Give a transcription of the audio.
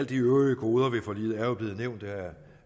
de øvrige goder ved forliget er jo blevet nævnt af